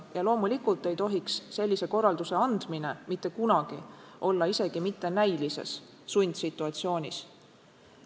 Ja loomulikult ei tohiks inimene sellist korraldust andes mitte kunagi olla isegi mitte näilises sundsituatsioonis.